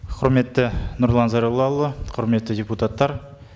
құрметті нұрлан зайроллаұлы құрметті депутаттар